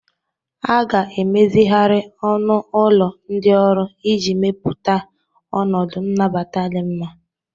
A ga-emezigharị ọnụ ụlọ ndị ọrụ iji mepụta ọnọdụ nnabata di nma.